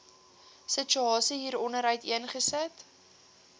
situasie hieronder uiteengesit